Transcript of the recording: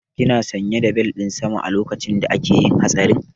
Kina sanye da bel ɗin zama a lokacin da akayi hatsarin?